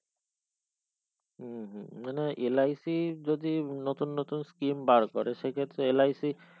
উ হু মানে LIC যদি নতুন নতুন skim বার করে সেই ক্ষেত্রে LIC